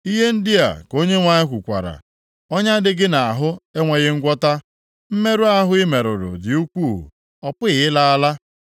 “Ihe ndị a ka Onyenwe anyị kwukwara, “ ‘Ọnya dị gị nʼahụ enweghị ngwọta, mmerụ ahụ i merụrụ dị ukwuu, ọ pụghị ịla ala.